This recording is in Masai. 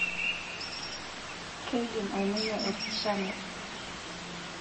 Keidim aiminie olkishamie.